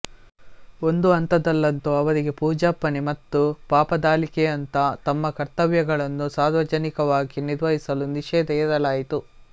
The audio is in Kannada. ಒಂದು ಹಂತದಲ್ಲಂತೂ ಅವರಿಗೆ ಪೂಜಾರ್ಪಣೆ ಮತ್ತು ಪಾಪದಾಲಿಕೆಯಂಥ ತಮ್ಮ ಕರ್ತವ್ಯಗಳನ್ನು ಸಾರ್ವಜನಿಕವಾಗಿ ನಿರ್ವಹಿಸಲು ನಿಷೇಧ ಹೇರಲಾಯಿತು